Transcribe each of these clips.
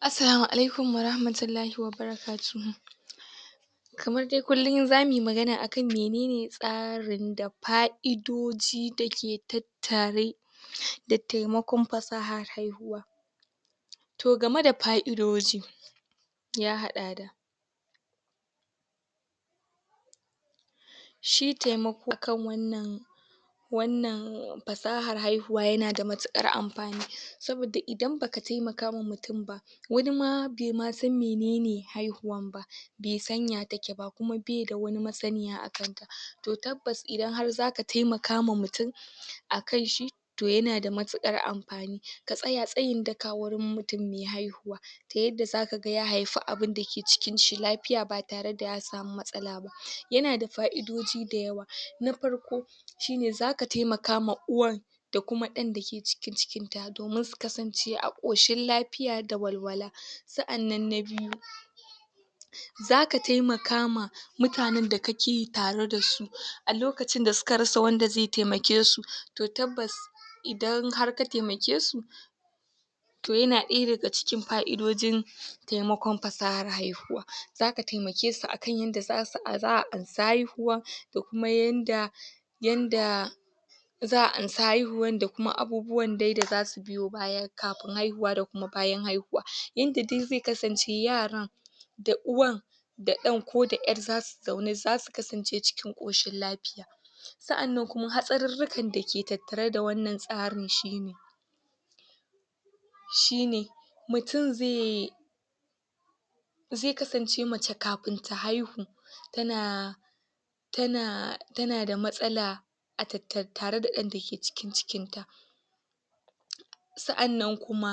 Assalamu alikum warahmatullahi wa barakatuhu. Kamar dai kullun zamuyi magana akan menene tsarin da fa'idoji dake tattare da taimakon fasahar haihuwa. To game da fa'idoji ya haɗa da shi taimako kan wannan wannan fasahar haihuwa yana da matuƙar amfani saboda idan baka taimakawa mutum ba wanima baimasan menene haihuwan ba baisan ya take ba kuma baida wani masaniya akanta to tabbas idan har zaka taimakama mutum akan shi to yana da matuƙar amfani ka tsaya tsayin daka wurin mutum mai haihuwa ta yanda zakaga ya haifia abunda ke cikin shi lafiya ba tare da ya samu matsala ba yanada fa'idoji dayawa, na farko shine zaka taimakama uwan da kuma ɗan dake cikin cikinta domin su kasance a ƙoshin lafiya da walwala. Sa'annan na biyu, zaka taimaka ma mutanen da kake tareda su a lokacin da suka rasa wanda zai taimake su to, tabbas idan har ka taimake su, to yana ɗaya daga cikin fa'idojin taimakon fasahar haihuwa. Zaka taimake su akan yanda zasu za'a ansa haihuwan da kuma yanda yanda za'a ansa haihuwan da kuma abubuwan dai da zasu biyo baya kafin haihuwa da da kuma bayan haihuwa, yanda dai zai kasance yaran da uwan da ɗan ko da ƴar zasu zaune zasu kasance cikin ƙoshin lafiya. Sa'annan kuma hatsarirrikan dake tattare da wannan tsarin shine shine mutum zai zai kasance mace kafin ta haihu tana, tana tana da matsala a tattare da ɗan dake cikin cikinta. Sa'annan kuma,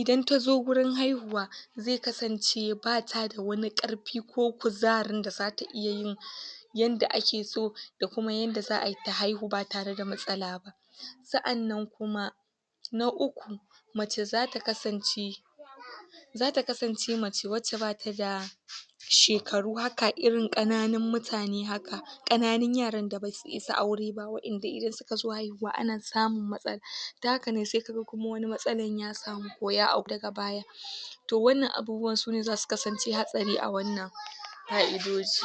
idan tazo gurin haihuwa zai kasance bata da wani ƙarfi ko kuzarin da zata iya yin yanda ake so da kuma yanda za'ayi ta haihu ba tareda matsala ba. Sa'annan kuma na uku mace zata kasance zata kasance mace wacce bata da shekaru haka irin ƙananun mutane haka ƙananun yaran da basu isa aure ba wa'inda idan sukazo haihuwa ana samun matsala da hakane sai kaga matsalan ya samu ko ya auku daga baya to wannan abubuwan sune zasu kasance hatsari a wannan fa'idoji.